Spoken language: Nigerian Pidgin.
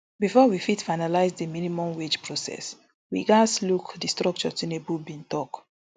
bifor we fit finalise di minimum wage process we gatz look di structure tinubu bin tok